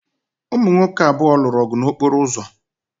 Ụmụ nwoke abụọ lụrụ ọgụ n'okporo ụzọ.